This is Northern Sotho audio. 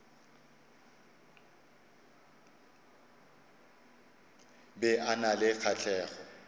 be a na le kgahlego